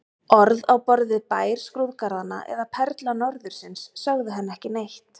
Orð á borð við Bær skrúðgarðanna eða Perla norðursins sögðu henni ekki neitt.